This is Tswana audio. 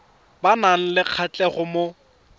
ba nang le kgatlhego mo